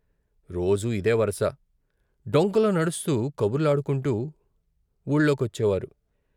రోజూ ఇదే పరస డొంకలో నడుస్తూ కబుర్లాడుకుంటూ వూళ్ళోకొచ్చేవారు.